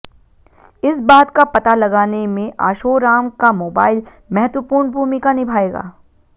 इस बात का पता लगाने में आशोराम का मोबाइल महत्वपूर्ण भूमिका निभाएगा